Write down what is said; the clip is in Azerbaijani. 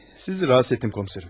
Sizi rahatsız etdim, komiserim.